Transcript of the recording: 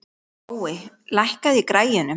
Gói, lækkaðu í græjunum.